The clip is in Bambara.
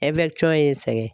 ye n sɛgɛn.